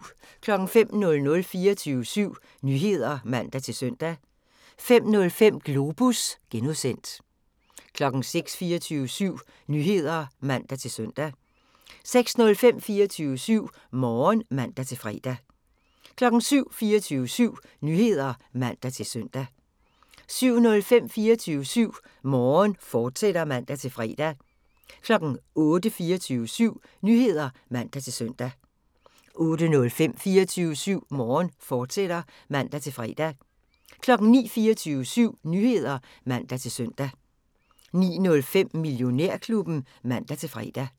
05:00: 24syv Nyheder (man-søn) 05:05: Globus (G) 06:00: 24syv Nyheder (man-søn) 06:05: 24syv Morgen (man-fre) 07:00: 24syv Nyheder (man-søn) 07:05: 24syv Morgen, fortsat (man-fre) 08:00: 24syv Nyheder (man-søn) 08:05: 24syv Morgen, fortsat (man-fre) 09:00: 24syv Nyheder (man-søn) 09:05: Millionærklubben (man-fre)